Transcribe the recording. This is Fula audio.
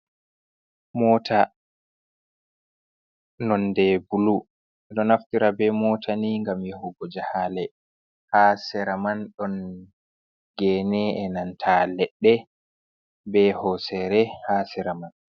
Mota nonde bulu, ɗo naftira be mota ni gam yahugo jahale, ha siraman ɗon gene enanta leɗɗe be hosere ha siraman.